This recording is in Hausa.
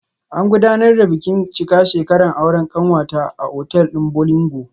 An gudanar da bikin cika shekaran aure kanwata a otal din Bolingo